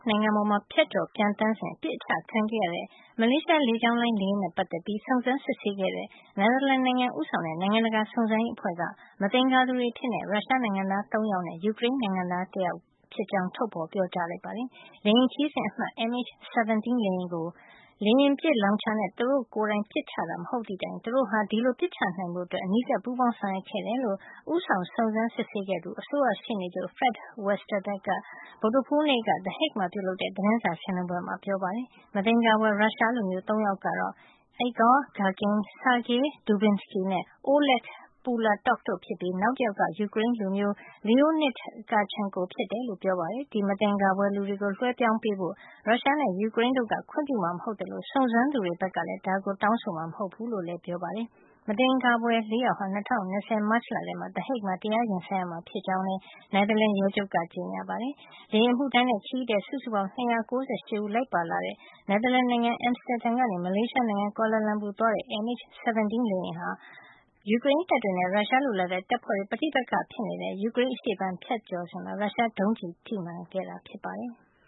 နိုင်ငံပေါ် ဖြတ်ကျော်ပျံသန်းစဉ် ပစ်အချခံခဲ့ရတဲ့ မလေးရှား လေကြောင်းလိုင်း လေယာဉ်နဲ့ ပတ်သက်ပြီး စုံစမ်းစစ်ဆေးခဲ့တဲ့ Netherlands နိုင်ငံဦးဆောင်တဲ့ နိုင်ငံတကာစုံစမ်းရေးအဖွဲ့က မသင်္ကာသူတွေအဖြစ် ရုရှားနိုင်ငံသား ၃ ယောက်နဲ့ ယူကရိန်း နိုင်ငံသား တယောက် ဖြစ်ကြောင်း ထုတ်ဖေါ်ပြောကြား လိုက်ပါတယ်။ လေယာဉ်ခရီးစဉ်အမှတ် MH17 လေယာဉ်ကို လေယာဉ်ပစ်လောင်ချာနဲ့ သူတို့ကိုယ်တိုင် ပစ်ချတာ မဟုတ်သည့်တိုင် သူတို့ဟာ ဒီလို ပစ်ချနိုင်ဖို့ အနီးကပ် ပူးပေါင်းဆောင်ရွက်ခဲ့တယ်လို့ ဦးဆောင်စုံစမ်းခဲ့သူ အစိုးရရှေ့နေချုပ် Fred Westerbeke က ဗုဒ္ဓဟူးနေ့ the Hague မှာပြုလုပ်တဲ့ သတင်းစာရှင်းလင်းပွဲမှာ ပြောကြားခဲ့ပါတယ်။ မသင်္ကာဖွယ် ရုရှားလူမျိုး ၃ ယောက်ကတော့ Igor Girkin, Sergey Dubinskiy နဲ့ Oleg Pulatov တို့ဖြစ်ပြီး နောက်တယောက်က ယူကရိန်းလူမျိုး Leonid Karchenko ဖြစ်တယ်လို့ ပြောပါတယ်။ ဒီမသင်္ကာဖွယ်လူတွေကို လွှဲပြောင်းပေးဖို့ အတွက် ရုရှားနဲ့ ယူကရိန်းတို့က ခွင့်ပြုမှာ မဟုတ်သလို စုံစမ်းသူတွေဘက်ကလည်း ဒါကို တောင်းဆိုမှာ မဟုတ်ဖူးလို့လည်း Westerbeke က ပြောပါတယ်။ မသင်္ကာဖွယ် ၄ ယောက်ဟာ ၂၀၂၀ မတ်လထဲမှာ the Hague မှာ တရားရင်ဆိုင်ရမှာ ဖြစ်ကြောင်းလည်း Netherlands ရဲချုပ်က ကြေညာခဲ့ပါတယ်။ လေယာဉ်အမှုထမ်းနဲ့ ခရီးသည် စုစုပေါင်း ၂၉၈ ဦးလိုက်ပါလာတဲ့ Netherlands နိုင်ငံ Amsterdam မြို့ကနေ မလေးရှားနိုင်ငံ Kuala Lumpur မြို့ကိုသွားတဲ့ MH17 လေယာဉ်ဟာ ၂၀၁၄ ဇူလိုင်လ ၁၇ ရက်နေ့က ယူကရိန်းတပ်တွေနဲ့ ရုရှားလိုလားတဲ့တပ်ဖွဲ့တွေ ပဋိပက္ခဖြစ်နေတဲ့ ယူကရိန်းအရှေ့ပိုင်းကို ဖြတ်ကျော်ပျံသန်းစဉ်မှာ ရုရှားဒုံးကျည်နဲ့ ပစ်ချတာခံခဲ့ရတာ ဖြစ်ပါတယ်။